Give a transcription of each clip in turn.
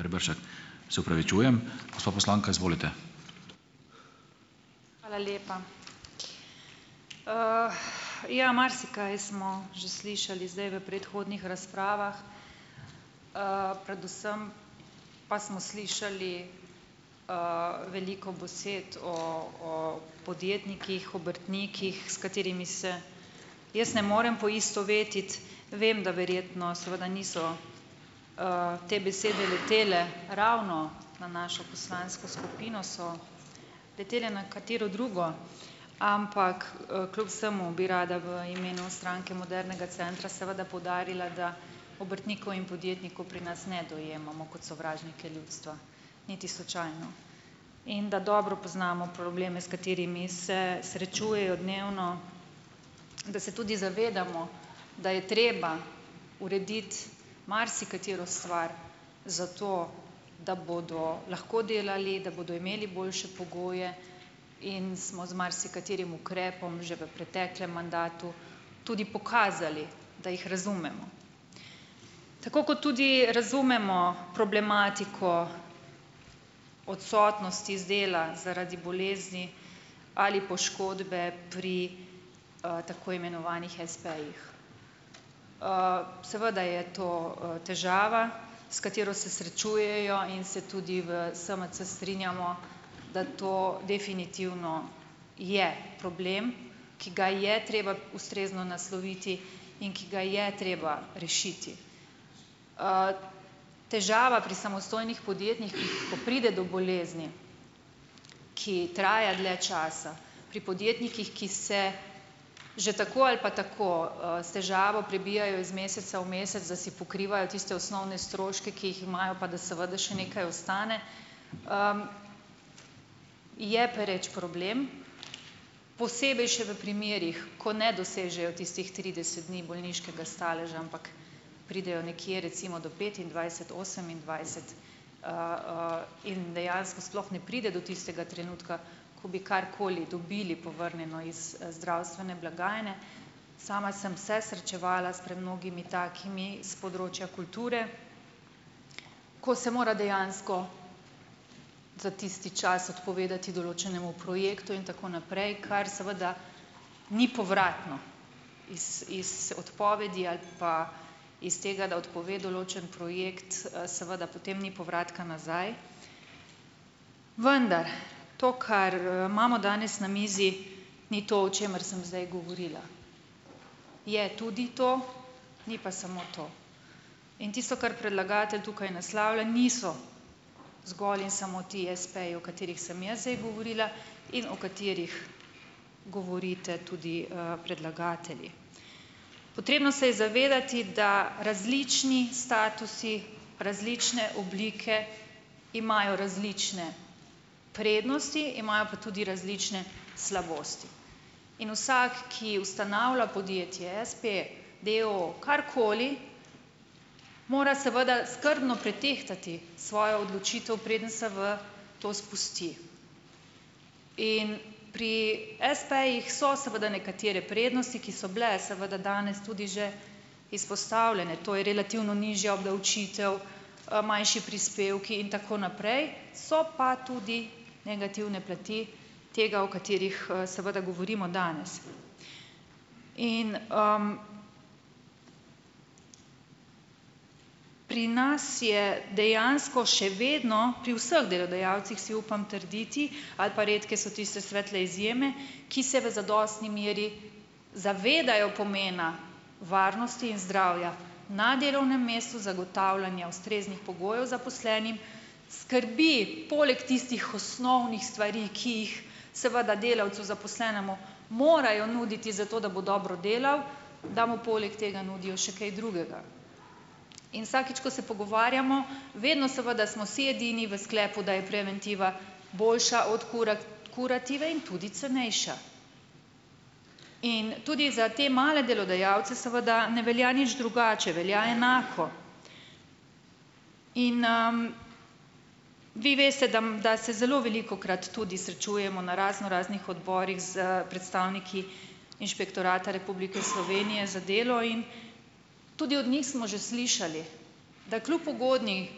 Hvala lepa. ja marsikaj smo že slišali zdaj v predhodnih razpravah, predvsem pa smo slišali veliko besed o o podjetnikih, obrtnikih, s katerimi se jaz ne morem poistovetiti, vem, da verjetno seveda niso te besede letele ravno na našo poslansko skupino, so letele na katero drugo, ampak kljub vsemu bi rada v imenu Stranke modernega centra seveda poudarila, da obrtnikov in podjetnikov pri nas ne dojemamo kot sovražnike ljudstva, niti slučajno, in da dobro poznamo probleme, s katerimi se srečujejo dnevno, da se tudi zavedamo, da je treba urediti marsikatero stvar, zato da bodo lahko delali, da bodo imeli boljše pogoje, in smo z marsikaterim ukrepom že v preteklem mandatu tudi pokazali, da jih razumemo, tako kot tudi razumemo problematiko odsotnosti z dela zaradi bolezni ali poškodbe pri tako imenovanih espejih, seveda je to težava, s katero se srečujejo in se tudi v SMC strinjamo, da to definitivno je problem, ki ga je treba ustrezno nasloviti in ki ga je treba rešiti, težava pri samostojnih podjetnikih, ko pride do bolezni, ki traja dlje časa, pri podjetnikih, ki se že tako ali pa tako s težavo prebijajo iz meseca v mesec, da si pokrivajo tiste osnovne stroške, ki jih imajo, pa da seveda še nekaj ostane, je pereč problem, posebej še v primerih, ko ne dosežejo tistih trideset dni bolniškega staleža, ampak pridejo nekje recimo do petindvajset, osemindvajset in dejansko sploh ne pride do tistega trenutka, ko bi karkoli dobili povrnjeno iz zdravstvene blagajne, sama sem se srečevala s premnogimi takimi s področja kulture, ko se mora dejansko za tisti čas odpovedati določenemu projektu in tako naprej, kar seveda ni povratno, iz, iz odpovedi ali pa iz tega odpove določen projekt, seveda potem ni povratka nazaj, vendar to, kar imamo danes na mizi, ni to, o čemer sem zdaj govorila, je tudi to, ni pa samo to, in tisto, kar predlagatelj tukaj naslavlja, niso zgolj in samo ti espeji, o katerih sem jaz zdaj govorila in o katerih govorite tudi predlagatelji, potrebno se je zavedati, da različni statusi, različne oblike imajo različne prednosti, imajo pa tudi različne slabosti, in vsak, ki ustanavlja podjetje espe, d. o. o. ali karkoli, mora seveda skrbno pretehtati svojo odločitev, preden se v to spusti, in pri espejih so seveda nekatere prednosti, ki so bile seveda danes tudi že izpostavljene, to je relativno nižja obdavčitev, manjši prispevki in tako naprej, so pa tudi negativne plati tega, o katerih seveda govorimo danes, in pri nas je dejansko še vedno pri vseh delodajalcih, si upam trditi, ali pa redke so tiste svetle izjeme, ki se v zadostni meri zavedajo pomena varnosti in zdravja na delovnem mestu, zagotavljanja ustreznih pogojev zaposlenim, skrbi poleg tistih osnovnih stvari, ki jih seveda delavci zaposlenemu morajo nuditi, zato da bo dobro delal, da mu poleg tega nudijo še kaj drugega, in vsakič ko se pogovarjamo, vedno seveda smo si edini v sklepu, da je preventiva boljša od kurative in tudi cenejša, in tudi za te male delodajalce seveda ne velja nič drugače, velja enako, in vi veste, da se zelo velikokrat tudi srečujemo na raznoraznih odborih s predstavniki Inšpektorata Republike Slovenije za delo, in tudi od njih smo že slišali, da kljub ugodni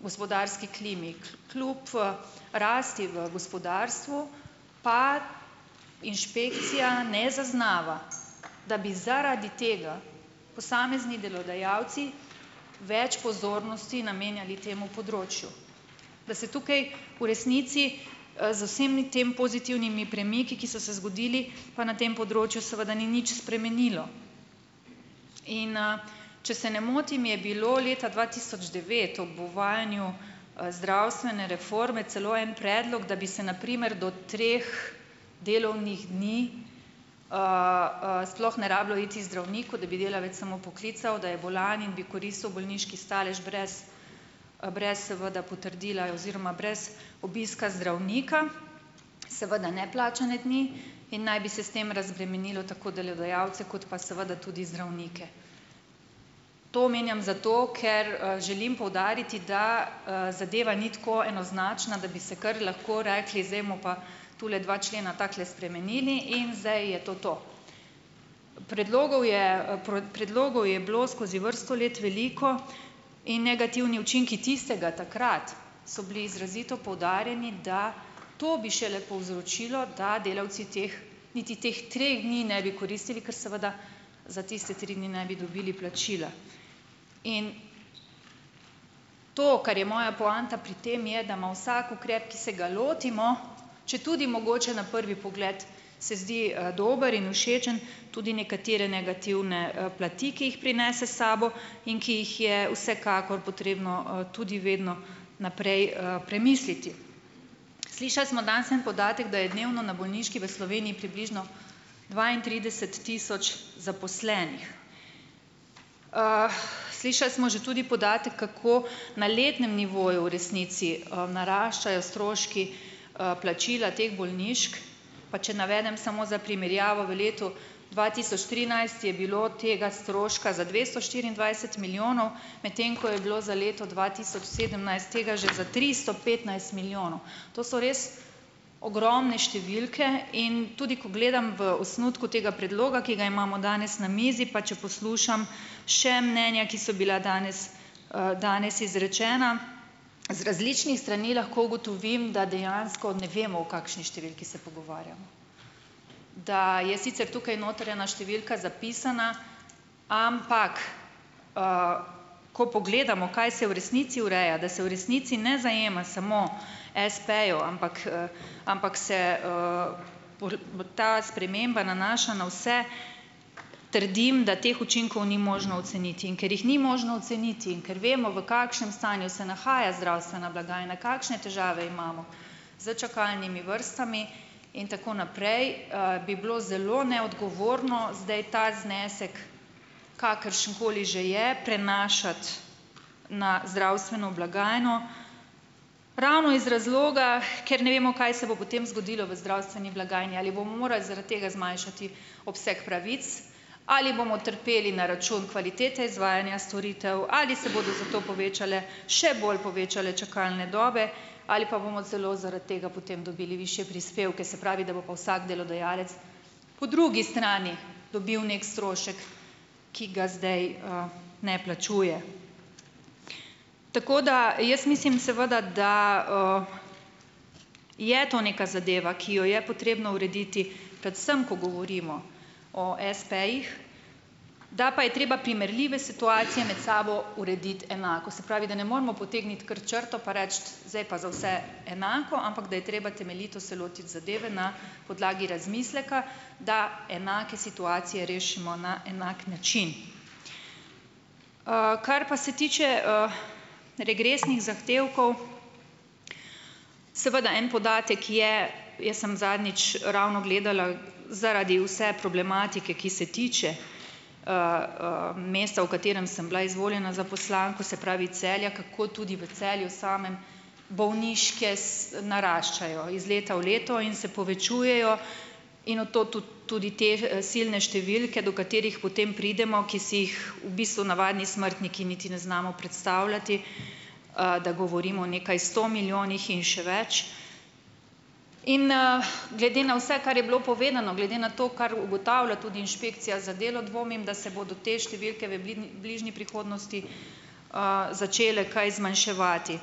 gospodarski klimi, kljub rasti v gospodarstvu pa inšpekcija ne zaznava, da bi zaradi tega posamezni delodajalci več pozornosti namenjali temu področju, da se tukaj v resnici z vsemi tem pozitivnimi premiki, ki so se zgodili, pa na tem področju seveda ni nič spremenilo, in če se ne motim, je bilo leta dva tisoč devet ob uvajanju zdravstvene reforme celo en predlog, da bi se na primer do treh delovnih dni sploh ne rabilo iti zdravniku, da bi delavec samo poklical, da je bolan, in bi koristil bolniški stalež brez, brez vda potrdila oziroma brez obiska zdravnika, seveda ne plačane dni, in naj bi se s tem razbremenilo tako delodajalce kot pa seveda tudi zdravnike, to omenjam zato, ker želim poudariti, da zadeva ni tako enoznačna, da bi se kar lahko rekli, zdaj bomo pa tule dva člena takole spremenili in zdaj je to to. Predlogov je predlogov je bilo skozi vrsto let veliko in negativni učinki tistega takrat so bili izrazito poudarjeni, da to bi šele povzročilo, da delavci teh niti teh treh dni ne bi koristili, ker seveda za tiste tri dni ne bi dobili plačila, in to, kar je moja poanta pri tem, je, da ima vsak ukrep, ki se ga lotimo, četudi mogoče na prvi pogled se zdi dober in všečen, tudi nekatere negativne plati, ki jih prinese sabo in ki jih je vsekakor potrebno tudi vedno naprej premisliti, slišali smo danes en podatek, da je dnevno na bolniški v Sloveniji približno dvaintrideset tisoč zaposlenih, slišali smo že tudi podatek, kako na letnem nivoju v resnici naraščajo stroški plačila teh bolniških, pa če navedem samo za primerjavo: v letu dva tisoč trinajst je bilo tega stroška za dvesto štiriindvajset milijonov, medtem ko je bilo za leto dva tisoč sedemnajst tega že za tristo petnajst milijonov, to so res ogromne številke, in tudi ko gledam v osnutku tega predloga, ki ga imamo danes na mizi, pa če poslušam še mnenja, ki so bila danes, danes izrečena z različnih strani, lahko ugotovim, da dejansko ne vemo, o kakšni številki se pogovarjamo, da je sicer tukaj noter ena številka zapisana, ampak ko pogledamo, kaj se v resnici ureja, da se v resnici ne zajema samo espejev, ampak, ampak se ta sprememba nanaša na vse, trdim, da teh učinkov ni možno oceniti, in ker jih ni možno oceniti in ker vemo, v kakšnem stanju se nahaja zdravstvena blagajna, kakšne težave imamo s čakalnimi vrstami in tako naprej, bi bilo zelo neodgovorno zdaj ta znesek, kakršenkoli že je, prenašati na zdravstveno blagajno ravno iz razloga, ker ne vemo, kaj se bo potem zgodilo v zdravstveni blagajni, ali bomo morali zaradi tega zmanjšati obseg pravic, ali bomo trpeli na račun kvalitete izvajanja storitev, ali se bodo zato povečale, še bolj povečale čakalne dobe, ali pa bomo celo zaradi tega potem dobili višje prispevke, se pravi, da bo pa vsak delodajalec po drugi strani dobil nek strošek, ki ga zdaj ne plačuje, tako da jaz mislim, seveda, da je to neka zadeva, ki jo je potrebno urediti, predvsem ko govorimo o espejih, da pa je treba primerljive situacije med sabo urediti enako, se pravi, da ne moremo potegniti kar črto pa reči: "Zdaj pa za vse enako," ampak da je treba temeljito se lotiti zadeve na podlagi razmisleka, da enake situacije rešimo na enak način, kar pa se tiče regresnih zahtevkov, seveda en podatek je, jaz sem zadnjič ravno gledala zaradi vse problematike, ki se tiče meseca, v katerem sem bila izvoljena za poslanko, se pravi Celja, kako tudi v Celju samem bolniške s naraščajo iz leta v leto in se povečujejo, in v to tudi tudi te silne številke, do katerih potem pridemo, ki si jih v bistvu navadni smrtniki niti ne znamo predstavljati, da govorimo o nekaj sto milijonih in še več, in glede na vse, kar je bilo povedano glede na to, kar ugotavlja tudi inšpekcija za delo, dvomim, da se bodo te številke v bližnji prihodnosti začele kaj zmanjševati,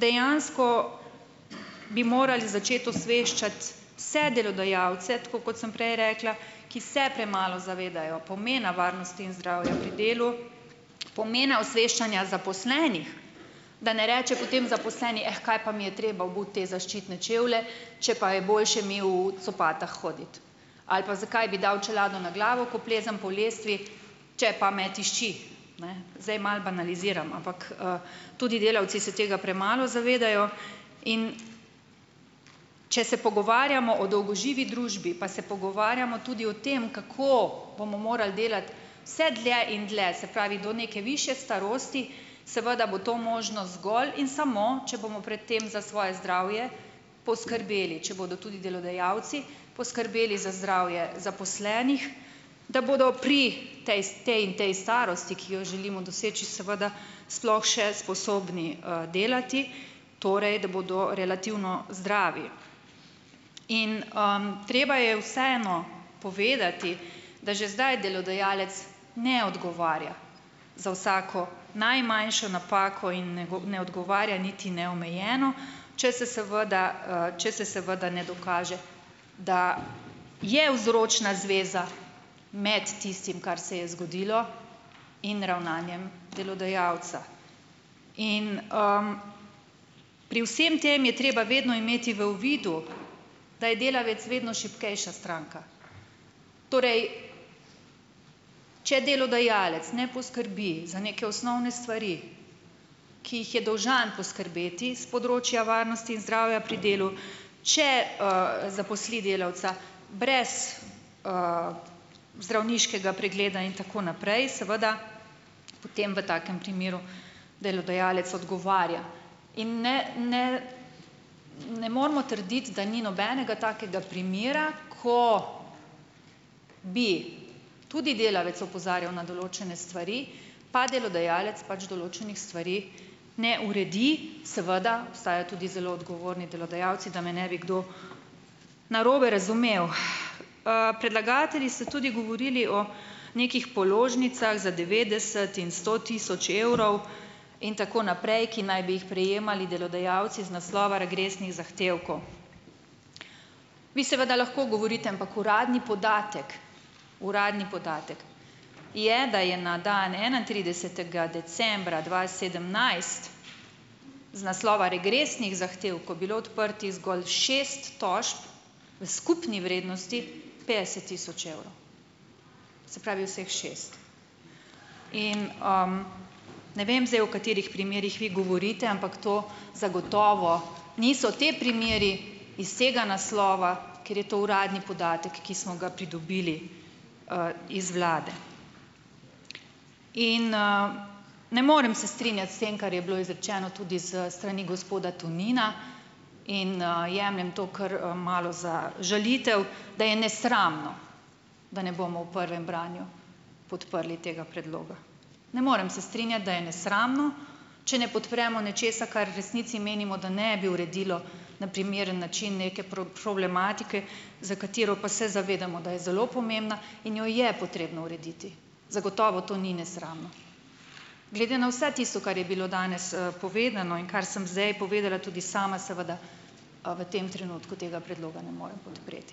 dejansko bi morali začeti osveščati vse delodajalce, tako kot sem prej rekla, ki se premalo zavedajo pomena varnosti in zdravja pri delu, pomena osveščanja zaposlenih, da ne reče potem zaposleni: "Eh, kaj pa mi je treba obuti te zaščitne čevlje, če pa je boljše mel v copatah hoditi," ali pa: "Zakaj bi dal čelado na glavo, ko plezam po lestvi, če pa me tišči." Ne, zdaj malo banaliziramo, ampak tudi delavci se tega premalo zavedajo, in če se pogovarjamo o dolgoživi družbi, pa se pogovarjamo tudi o tem, kako bomo morali delati vse dlje in dlje, se pravi, do neke višje starosti, seveda bo to možno, zgolj in samo če bomo pred tem za svoje zdravje poskrbeli, če bodo tudi delodajalci poskrbeli za zdravje zaposlenih, da bodo pri potem potem in potem starosti, ki jo želimo doseči, seveda sploh še sposobni delati, torej da bodo relativno zdravi, in treba je vseeno povedati, da že zdaj delodajalec ne odgovarja za vsako najmanjšo napako in ne odgovarja niti neomejeno, če se seveda, če se seveda ne dokaže, da je vzročna zveza med tistim, kar se je zgodilo, in ravnanjem delodajalca, in pri vsem tem je treba vedno imeti v uvidu, da je delavec vedno šibkejša stranka, torej če delodajalec ne poskrbi za neke osnovne stvari, ki jih je dolžan poskrbeti s področja varnosti in zdravja pri delu, če zaposli delavca brez zdravniškega pregleda in tako naprej, seveda potem v takem primeru delodajalec odgovarja, in ne, ne, ne moremo trditi, da ni nobenega takega primera, ko bi tudi delavec opozarjal na določene stvari, pa delodajalec pač določenih stvari ne uredi, seveda obstaja tudi zelo odgovorni delodajalci, da me ne bi kdo narobe razumel, predlagatelji ste tudi govorili o nekih položnicah za devetdeset in sto tisoč evrov in tako naprej, ki naj bi jih prejemali delodajalci z naslova regresnih zahtevkov, vi seveda lahko govorite, ampak uradni podatek, uradni podatek je, da je na dan enaintridesetega decembra dva sedemnajst z naslova regresnih zahtevkov bili odprtih zgolj šest tožb v skupni vrednosti petdeset tisoč evrov, se pravi vseh šest in ne vem zdaj, v katerih primerih vi govorite, ampak to zagotovo niso ti primeri iz tega naslova, ker je to uradni podatek, ki smo ga pridobili iz vlade, in ne morem se strinjati s tem, kar je bilo izrečeno tudi s strani gospoda Tonina, in jemljem to kar malo za žalitev, da je nesramno, da ne bomo v prvem branju podprli tega predloga, ne morem se strinjati, da je nesramno, če ne podpremo nečesa, kar v resnici menimo, da ne bi uredilo na primeren način neke problematike, za katero pa se zavedamo, da je zelo pomembna in jo je potrebno urediti, zagotovo to ni nesramno, glede na vse tisto, kar je bilo danes povedano in kar sem zdaj povedala tudi sama, seveda, v tem trenutku tega predloga ne morem podpreti.